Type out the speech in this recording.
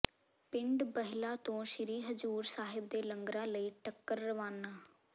ਪਿੰਡ ਬਹਿਲਾ ਤੋਂ ਸ੍ਰੀ ਹਜ਼ੂਰ ਸਾਹਿਬ ਦੇ ਲੰਗਰਾਂ ਲਈ ਟਰੱਕ ਰਵਾਨਾ